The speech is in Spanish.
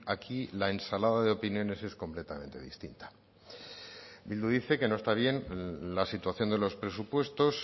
aquí la ensalada de opiniones es completamente distinta bildu dice que no está bien la situación de los presupuestos